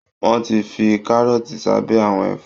Wọ́n ti fi kárọ́ọ̀tì sábẹ́ àwọn ẹ̀fọ́